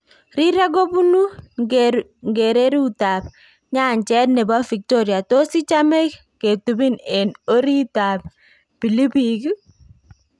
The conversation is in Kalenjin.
Rireek kobuunu nkereruutab nyancheet nebo Victoria tos ichame ketubiin en oriita bilibiliik?